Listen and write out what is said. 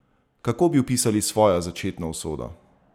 Kako bi opisali svojo začetno usodo?